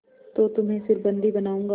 तो तुम्हें फिर बंदी बनाऊँगा